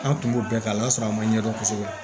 An kun b'o bɛɛ kɛ a lasɔrɔ a ma ɲɛdɔn kosɛbɛ